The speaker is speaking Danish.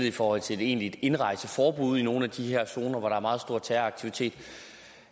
i forhold til et egentligt indrejseforbud i nogle af de her zoner hvor der er meget stor terroraktivitet